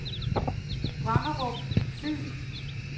Brenderup Fyn